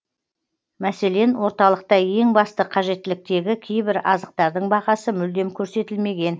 мәселен орталықта ең басты қажеттіліктегі кейбір азықтардың бағасы мүлдем көрсетілмеген